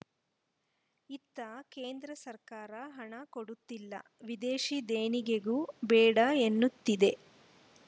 ಇತ್ತ ಕೇಂದ್ರ ಸರ್ಕಾರ ಹಣ ಕೊಡುತ್ತಿಲ್ಲ ವಿದೇಶೀ ದೇಣಿಗೆಗೂ ಬೇಡ ಎನ್ನುತ್ತಿದೆ